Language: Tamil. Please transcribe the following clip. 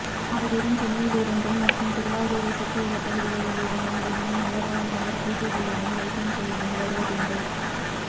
அவரிடம் சென்னையில் இருந்தும் மற்றும் திருவள்ளூரை சுற்றியுள்ள பகுதிகளில் இருந்தும் தினமும் ஏராளமானோர் பூஜை செய்யவும் வைத்தியம் செய்யவும் வருவதுண்டு